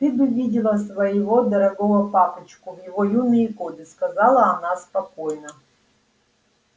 ты бы видела своего дорогого папочку в его юные годы сказала она спокойно